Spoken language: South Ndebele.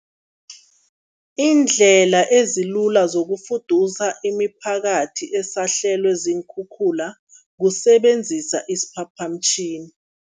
Iindlela ezilula zokufudusa imiphakathi esahlelwe ziinkhukhula, kusebenzisa isiphaphamtjhini.